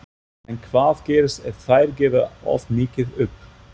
En hvað gerist ef þær gefa of mikið upp?